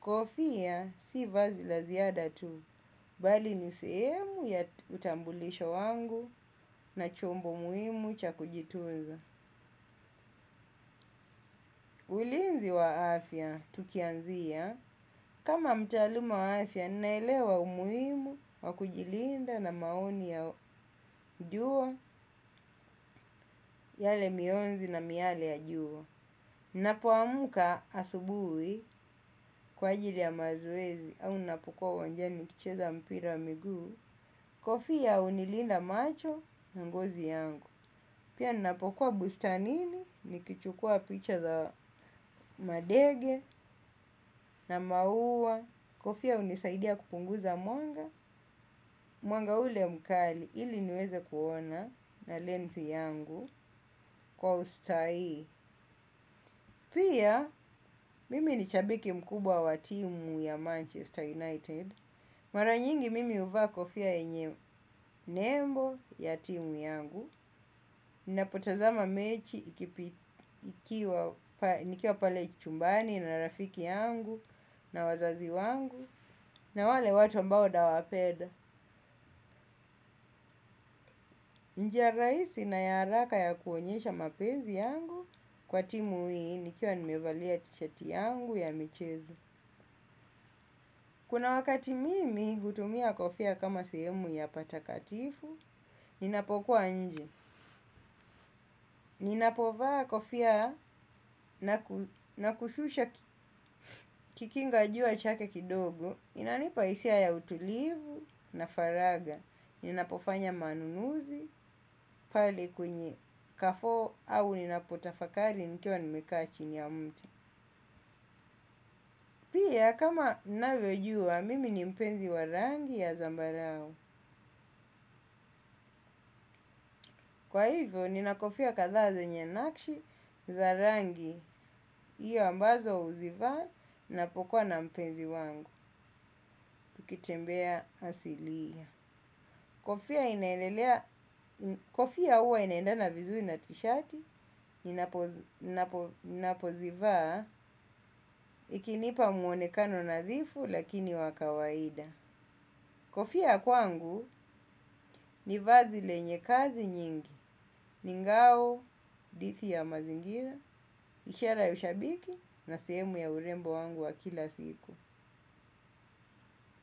kofia si vazi la ziada tu. Bali ni sehemu ya utambulisho wangu na chombo muhimu cha kujitunza. Ulinzi wa afya, tukianzia. Kama mtaaluma wa afya, ninaelewa umuhimu, wa kujilinda na maoni ya jua, yale mionzi na miale ya jua. Napoamuka asubuhi kwa ajili ya mazoezi au napokuwa uwanjani nikicheza mpira wa miguu, kofia hunilinda macho na ngozi yangu. Pia ninapokuwa bustanini nikichukua picha za madege na maua kofia hunisaidia kupunguza mwanga, mwanga ule mkali ili niweze kuona na lensi yangu kwa ustahii. Pia mimi ni shabiki mkubwa wa timu ya Manchester United. Mara nyingi mimi huvaa kofia yenye nembo ya timu yangu. Napotazama mechi nikiwa pale chumbani na rafiki yangu na wazazi wangu na wale watu ambao mawapenda. Njia rahisi na ya haraka ya kuonyesha mapenzi yangu kwa timu hii nikiwa nimevalia tishati yangu ya michezo. Kuna wakati mimi hutumia kofia kama sehemu ya patakatifu, ninapokuwa nje. Ninapovaa kofia na kushusha kikinga jua chake kidogo, inanipa hisia ya utulivu na faraga. Ninapofanya manunuzi, pale kwenye Carrefour au ninapotafakari nikiwa nimekaa chini ya mti. Pia kama unavyojua, mimi ni mpenzi wa rangi ya zambarao. Kwa hivyo, nina kofia kathaa zenye nakshi za rangi hiyo ambazo huzivaa napokwa na mpenzi wangu, tukitembea asilia. Kofia huwa inaendana vizuri na tishati, napozivaa ikinipa mwonekano nadhifu lakini wa kawaida. Kofia kwangu ni vazi lenye kazi nyingi, ni ngao, dhidi ya mazingira, ishara ya ushabiki na sehemu ya urembo wangu wa kila siku.